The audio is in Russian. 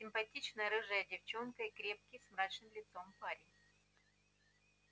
симпатичная рыжая девчонка и крепкий с мрачным лицом парень